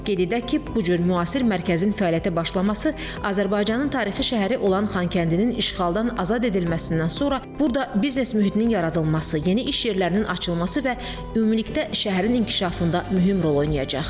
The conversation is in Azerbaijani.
Qeyd edək ki, bu cür müasir mərkəzin fəaliyyətə başlaması Azərbaycanın tarixi şəhəri olan Xankəndinin işğaldan azad edilməsindən sonra burada biznes mühitinin yaradılması, yeni iş yerlərinin açılması və ümumilikdə şəhərin inkişafında mühim rol oynayacaq.